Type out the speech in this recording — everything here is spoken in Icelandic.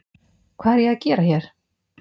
Hvað er ég að gera hér?